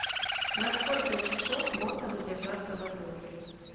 на сколько часов можно задержаться в отеле